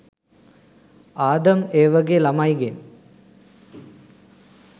ආදම් ඒවගෙ ළමයිගෙන්